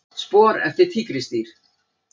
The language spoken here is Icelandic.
Spor eftir tígrisdýr.